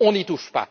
on n'y touche pas.